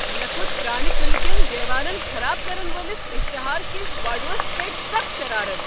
مےٚ كھوٚت پرٛانہِ قعلہٕ کِٮ۪ن دیوارن خراب کرن وٲلس اشتہار كِس باڈوس پیٹھ سخ شرارتھ۔